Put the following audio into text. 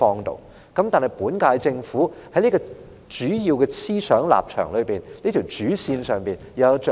可是，本屆政府就理財方面的主要思想和立場有甚麼着墨？